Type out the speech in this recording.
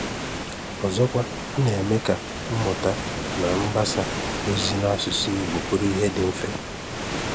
Ọzọkwa, ọ na-eme ka mmụ̀tà na mgbàsá òzì n’asụ̀sụ́ Ìgbò bụrụ ihe dị mfe.